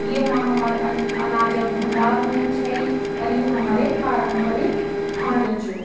येमा हमर अं अनाज क भंडार हुन्द छाई और यु हमर पारंपरिक भांडू च ।